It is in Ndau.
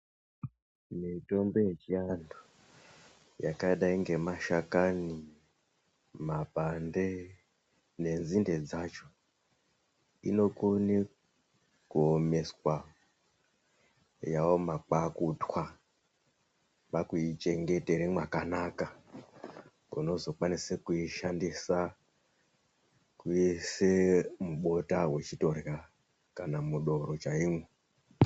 Mitombo yechiantu yakadai nemashakani, makwande nenzinde dzacho inokone kuwomweswa, yaoma kwakutwa, kwakuichengetere mwakanaka. Unozokwanisa kuishandisa kwese mubota wechitorya kana mudoro chaimwo.